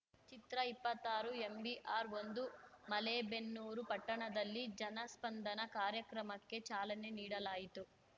ಚಿತ್ರಇಪ್ಪತ್ತಾರುಎಂಬಿಆರ್‌ಒಂದು ಮಲೇಬೆನ್ನೂರು ಪಟ್ಟಣದಲ್ಲಿ ಜನಸ್ಪಂದನ ಕಾರ್ಯಕ್ರಮಕ್ಕೆ ಚಾಲನೆ ನೀಡಲಾಯಿತು